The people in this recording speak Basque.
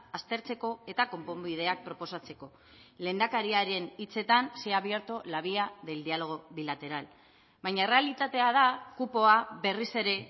aztertzeko eta konponbideak proposatzeko lehendakariaren hitzetan se ha abierto la vía del diálogo bilateral baina errealitatea da kupoa berriz ere